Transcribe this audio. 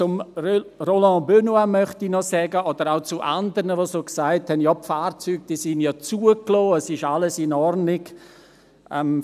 Zu Roland Benoit und anderen, die gesagt haben, die Fahrzeuge seien ja zugelassen, es sei alles in Ordnung, möchte ich sagen: